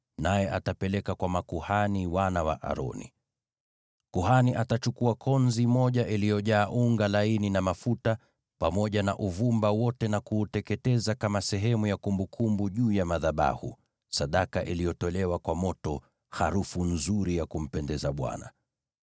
naye atapeleka kwa makuhani wana wa Aroni. Kuhani atachukua konzi moja iliyojaa unga laini na mafuta pamoja na uvumba wote, na kuuteketeza kama sehemu ya kumbukumbu juu ya madhabahu, sadaka iliyotolewa kwa moto, harufu nzuri ya kumpendeza Bwana .